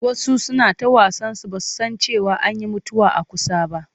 Wasu suna ta wasansu ba su san cewa an yi mutuwa a kusa ba.